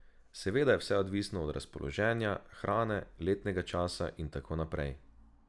Seveda je vse odvisno od razpoloženja, hrane, letnega časa in tako naprej.